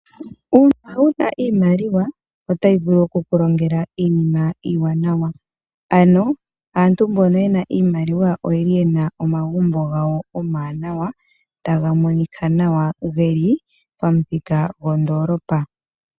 Uuna wu na iimaliwa otayi vulu oku ku longela iinima iiwanawa. Aantu mbono ye na iimaliwa oye na omagumbo gawo omawanawa taga monika nawa ge li pamuthika gondoolopa.